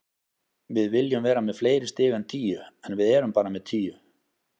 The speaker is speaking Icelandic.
Við viljum vera með fleiri stig en tíu, en við erum bara með tíu.